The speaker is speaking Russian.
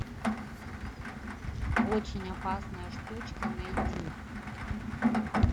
очень опасная штучка найти